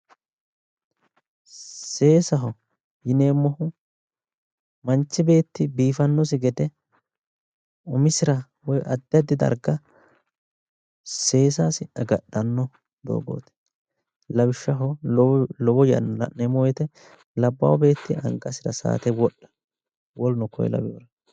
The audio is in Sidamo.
seesaho yineemmohu manchi beetti biifannosi gede umisira woyi addi addi darga seesasi agadhanno doogooti lawishshaho lowo yanna la'neemmo wote labbaa beetti angasira saate wodha woleno kuri laweereeti.